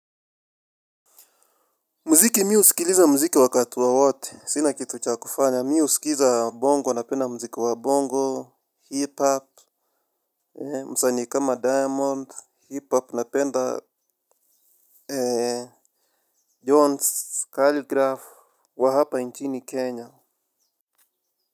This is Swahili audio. Muziki, mi usikiliza mziki wakati wowote. Sina kitu cha kufanya. Mi uskiza bongo, napenda mziki wa bongo, hip-hop, msani kama diamond, hip-hop, napenda John's kalligraph, wa hapa nchini Kenya.